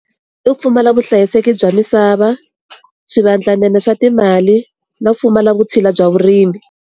I pfumala vuhlayiseki bya misava swivandlanene swa timali no pfumala vutshila bya vurimi.